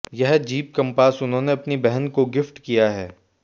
यह Jeep Compass उन्होंने अपनी बहन को गिफ्ट किया है